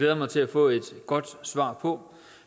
jeg mig til at få et godt svar på